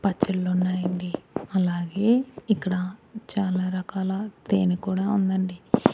పచ్చళ్ళు ఉన్నాయండి అలాగే ఇక్కడ చాలా రకాల తేనె కూడా ఉందండి.